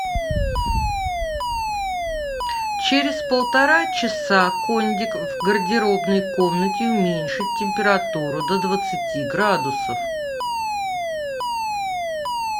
через полтора часа кондик в гардеробной комнате уменьшить температуру до двадцати градусов